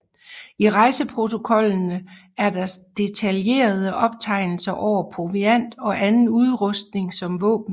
I rejseprotokollene er der detaljerede optegnelser over proviant og anden udrustning som våben